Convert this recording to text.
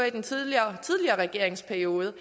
i den tidligere regeringsperiode